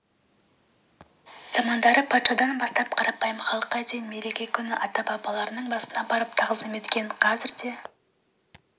замандары патшадан бастап қарапайым халыққа дейін мереке күні ата-бабаларының басына барып тағзым еткен қазір де